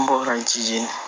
N bɔra jijeni